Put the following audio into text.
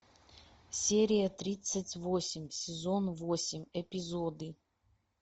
серия тридцать восемь сезон восемь эпизоды